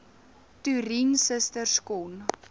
toerien susters kon